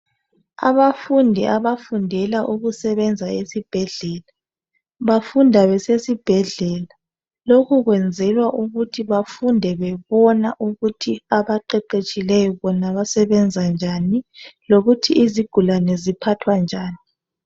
Abafundi abafundela ukusebenza esibhedlela bafunda besesibhedlela lokhu kwenzelwa ukuthi bafunde bebona ukuthi abaqeqetshileyo bona basebenza njani lokuthi izigulane ziphathwa njani.